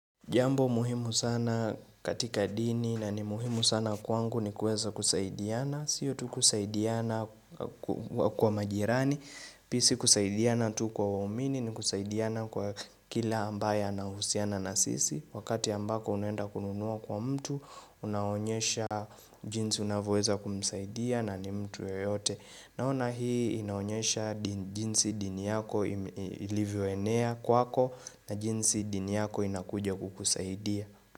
Jambo muhimu sana katika dini na ni muhimu sana kwangu ni kueza kusaidiana Sio tu kusaidiana kwa majirani Pia si kusaidiana tu kwa uamini ni kusaidiana kwa kila ambaye anahusiana na sisi Wakati ambako unenda kununua kwa mtu unaonyesha jinsi unavyoweza kumsaidia na ni mtu ya yote Naona hii inaonyesha jinsi dini yako ilivyoenea kwako na jinsi dini yako inakuja kukusaidia.